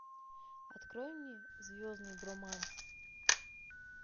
открой мне звездный броманс